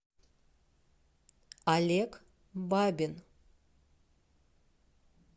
олег бабин